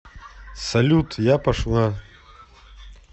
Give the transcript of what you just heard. салют я пошла